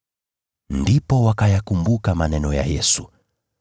Ndipo wakayakumbuka maneno ya Yesu.